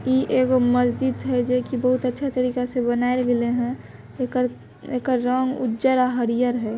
ई एगो मस्जिद है जे की बहुत ही अच्छा तरीका से बनावल गाइलें हन। ऐकर ऐकर रंग उजर आ हरिहर है।